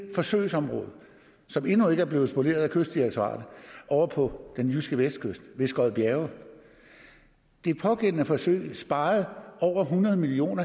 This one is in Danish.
forsøgsområde som endnu ikke er blevet spoleret af kystdirektoratet ovre på den jyske vestkyst ved skodbjerge det pågældende forsøg sparede over hundrede million